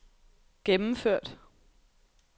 gennemført